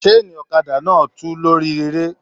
Saani ọ̀kàdà náà tí lórí eré.